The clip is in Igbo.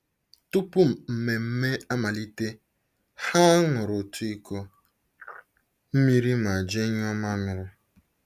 Tupu mmemme amalite, ha ṅụrụ otu iko mmiri ma jee nyụọ mamịrị.